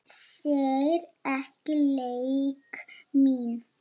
Sér ekki leik minn.